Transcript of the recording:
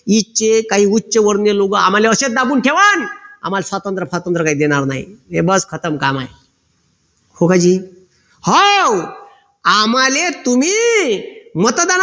इथचे काही उच्चवर्णिय लोक आम्हाले असेच दाबून ठेवान आम्हाला स्वातंत्र फातंत्र काही देणार नाही हे बस खतम काम आहे हो आम्हाले तुम्ही मतदानात